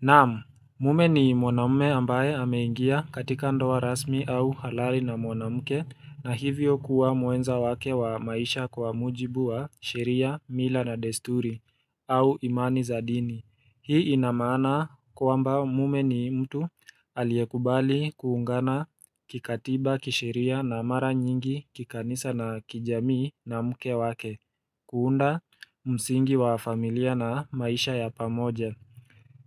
Naam, mume ni mwanamume ambaye ameingia katika ndoa rasmi au halali na mwanamke na hivyo kuwa mwenza wake wa maisha kwa mujibu wa sheria, mila na desturi au imani za dini. Hii inamaana kwamba mume ni mtu aliyekubali kuungana kikatiba kisheria na mara nyingi kikanisa na kijamii na mke wake kuunda msingi wa familia na maisha ya pamoja.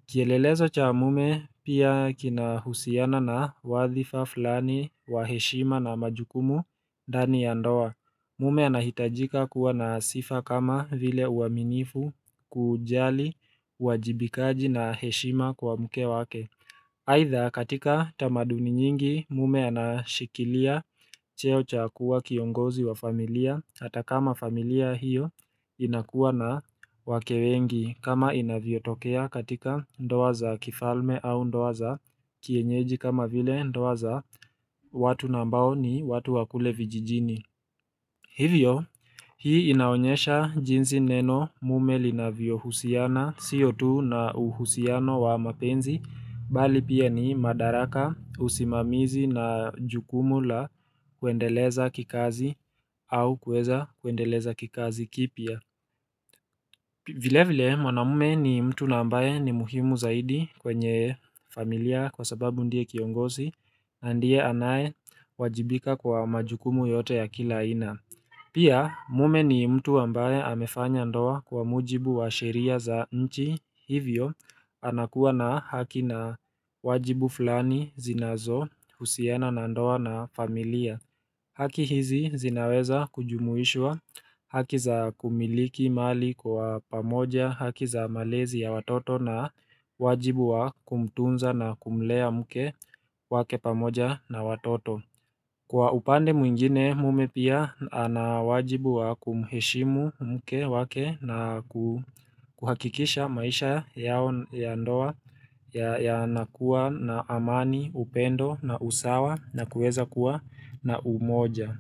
Kielelezo cha mume pia kina husiana na wadhifa fulani wa heshima na majukumu ndani ya ndoa. Mume anahitajika kuwa na sifa kama vile uaminifu kujali uwajibikaji na heshima kwa mke wake. Aidha katika tamaduni nyingi mume anashikilia cheo cha kuwa kiongozi wa familia hata kama familia hiyo inakuwa na wake wengi kama inavyo tokea katika ndoa za kifalme au ndoa za kienyeji kama vile ndoa za watu ambao ni watu wa kule vijijini Hivyo, hii inaonyesha jinsi neno mume linavyo husiana, sio tu na uhusiano wa mapenzi, bali pia ni madaraka usimamizi na jukumu la kuendeleza kikazi au kuweza kuendeleza kikazi kipya. Vile vile, mwana mume ni mtu na ambaye ni muhimu zaidi kwenye familia kwa sababu ndiye kiongozi, na ndiye anayewajibika kwa majukumu yote ya kila aina. Pia mume ni mtu ambaye amefanya ndoa kwa mujibu wa sheria za nchi hivyo anakuwa na haki na wajibu flani zinazo husiana na ndoa na familia haki hizi zinaweza kujumuishwa haki za kumiliki mali kwa pamoja haki za malezi ya watoto na wajibu wa kumtunza na kumlea mke wake pamoja na watoto Kwa upande mwingine mume pia anawajibu wa kumheshimu mke wake na kuhakikisha maisha yao ya ndoa yanakuwa na amani, upendo na usawa na kuweza kuwa na umoja.